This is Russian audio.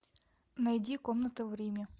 найди комната в риме